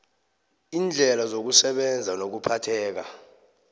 iindlela zokusebenza nokuphatheka